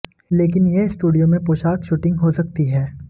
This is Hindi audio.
लेकिन यह स्टूडियो में पोशाक शूटिंग हो सकती है